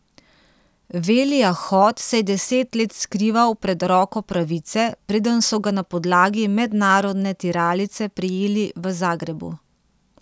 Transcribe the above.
Velija Hot se je deset let skrival pred roko pravice, preden so ga na podlagi mednarodne tiralice prijeli v Zagrebu.